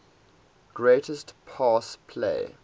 greatest pass play